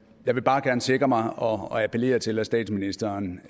jeg vil bare gerne sikre mig og og appellere til at statsministeren